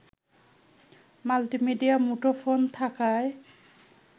multi media মুঠোফোন থাকায়